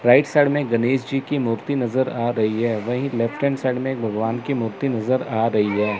Right side में गणेश जी की मूर्ति नज़र आ रही है वही लेफ्ट हैंड साइड में एक भगवान की मूर्ति नज़र आ रही है।